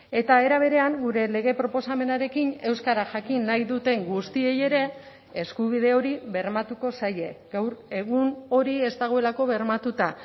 eta era berean gure lege proposamenarekin euskara jakin nahi duten guztiei ere eskubide hori bermatuko zaie gaur egun hori ez dagoelako bermatuta